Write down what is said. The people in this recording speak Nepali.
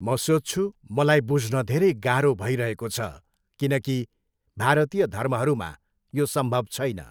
म सोच्छु, मलाई बुझ्न धेरै गाह्रो भइरहेको छ किनकि भारतीय धर्महरूमा यो सम्भव छैन।